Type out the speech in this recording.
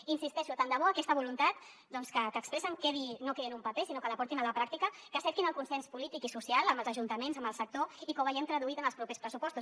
hi insisteixo tant de bo aquesta voluntat doncs que expressen no quedi en un paper sinó que la portin a la pràctica que cerquin el consens polític i social amb els ajuntaments amb el sector i que ho vegem traduït en els propers pressupostos